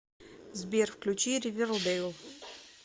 сбер включи ривердейл